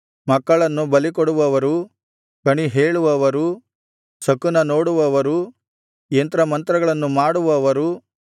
ಮಕ್ಕಳನ್ನು ಬಲಿಕೊಡುವವರು ಕಣಿಹೇಳುವವರು ಶಕುನನೋಡುವವರು ಯಂತ್ರ ಮಂತ್ರಗಳನ್ನು ಮಾಡುವವರು